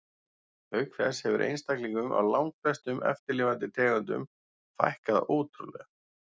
Auk þess hefur einstaklingum af langflestum eftirlifandi tegundum fækkað ótrúlega.